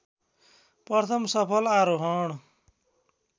प्रथम सफल आरोहण